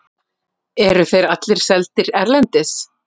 Eru þeir allir seldir erlendis?